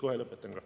Kohe lõpetan ka.